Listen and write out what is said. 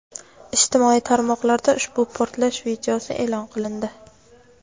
Ijtimoiy tarmoqlarda ushbu portlash videosi e’lon qilindi.